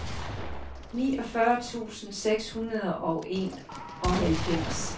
niogfyrre tusind seks hundrede og enoghalvfems